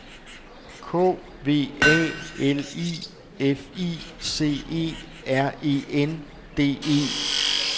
K V A L I F I C E R E N D E